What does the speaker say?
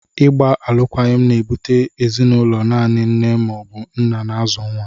Ịgba alụkwaghịm na-ebute ezinụlọ naanị nne ma ọ bụ nna na-azụ nwa.